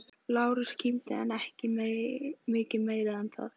Lárus kímdi en ekki mikið meira en það.